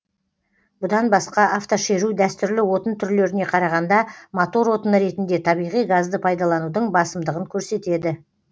бұдан басқа автошеру дәстүрлі отын түрлеріне қарағанда мотор отыны ретінде табиғи газды пайдаланудың басымдығын көрсетеді